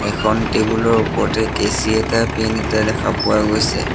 এখন টেবুল ৰ ওপৰতে কেঁচি এটা পেন এটা দেখা পোৱা গৈছে।